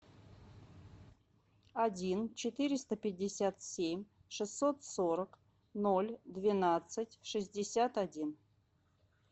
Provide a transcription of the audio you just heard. один четыреста пятьдесят семь шестьсот сорок ноль двенадцать шестьдесят один